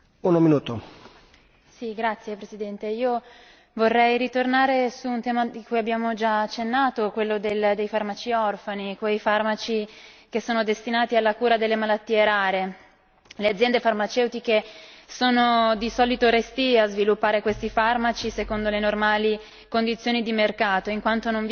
Signor Presidente, onorevoli colleghi, io vorrei ritornare su un tema a cui abbiamo già accennato, quello dei farmaci orfani, quei farmaci che sono destinati alla cura delle malattie rare. Le aziende farmaceutiche sono di solito restie a sviluppare questi farmaci secondo le normali condizioni di mercato, in quanto chiaramente non vi è un ritorno economico